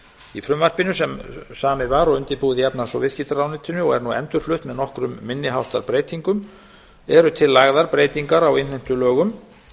í frumvarpinu sem samið var og undirbúið í efnahags og viðskiptaráðuneytinu og er nú endurflutt með nokkrum minniháttar breytingum eru til lagðar breytingar á innheimtulögum